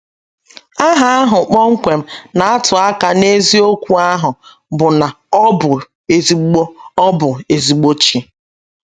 Aha ahụ kpọmkwem na - atụ aka n’eziokwu ahụ bụ́ na ọ bụ ezìgbo ọ bụ ezìgbo Chi.